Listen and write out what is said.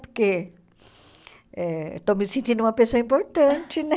Porque eh estou me sentindo uma pessoa importante, né?